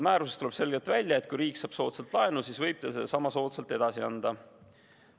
Määrusest tuleb selgelt välja, et kui riik saab soodsalt laenu, siis võib ta seda niisama soodsalt edasi anda.